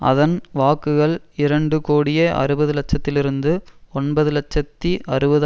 அதன் வாக்குகள் இரண்டு கோடியே அறுபது இலட்சத்திலிருந்து ஒன்பது இலட்சத்தி அறுபது